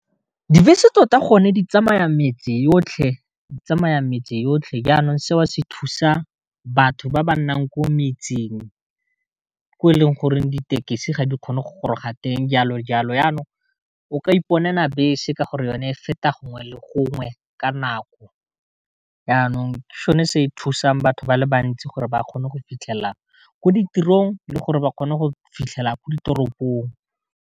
Dibese tota gonne di tsamaya metse yotlhe di tsamaya metse yotlhe, jaanong seo se thusa batho ba ba nnang ko metseng ko e leng goreng ditekesi ga di kgone go goroga teng jalo jalo, yanong o ka iponela bese ka gore yone feta gongwe le gongwe ka nako, yanong ke sone se e thusang batho ba le bantsi gore ba kgone go fitlhelela ko ditirong le gore ba kgone go fitlhela ko ditoropong.